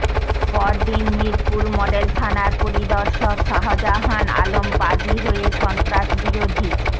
পরদিন মিরপুর মডেল থানার পরিদর্শক শাহজাহান আলম বাদী হয়ে সন্ত্রাসবিরোধী